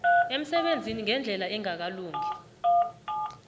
emsebenzini ngendlela engakalungi